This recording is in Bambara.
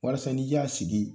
Walasa n'i y'a sigi